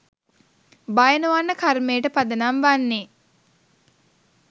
භය නොවන්න කර්මයට පදනම් වන්නේ